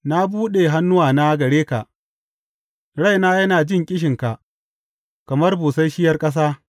Na buɗe hannuwana gare ka; raina yana jin ƙishinka kamar busasshiyar ƙasa.